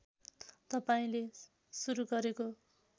तपाईँले सुरु गरेको